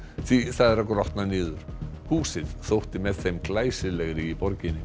því það er að grotna niður húsið þótti með þeim glæsilegri í borginni